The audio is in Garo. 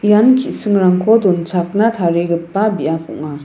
ian ki·singrangko donchakna tarigipa biap ong·a.